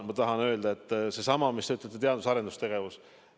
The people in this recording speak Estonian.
Te ütlete, et teadus- ja arendustegevus.